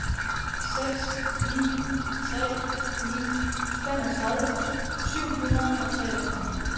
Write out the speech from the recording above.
seks ni tre ni femogtredive syv hundrede og treogtredive